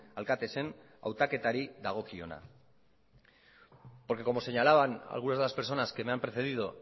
alkatesen hautaketari dagokiona porque como señalaban algunas de las personas que me han precedido